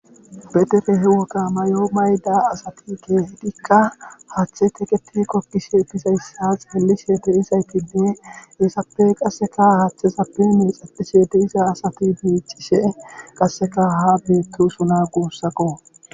Bedere he woqa mayo mayda asati keehedikka haaththe teketi kokkishe pisayssa xeellisheete izaytide heesappe qasseka haaththe sappe miixapi sheete iza asati miicishe qasseka ha beetto suna guussako